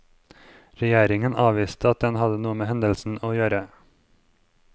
Regjeringen avviste at den hadde noe med hendelsen å gjøre.